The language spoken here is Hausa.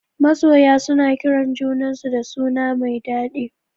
Masoya suna kiran junan su da suna mai dadi